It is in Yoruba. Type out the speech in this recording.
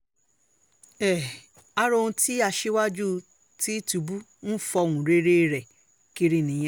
um ara ohun tí aṣíwájú tìtúbù ń fọ́nrẹ́rẹ́ kiri nìyẹn